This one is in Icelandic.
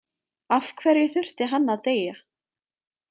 Af hverju þurfti hann að deyja?